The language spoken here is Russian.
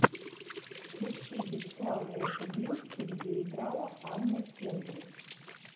включи бесславные ублюдки где играла анна кендрик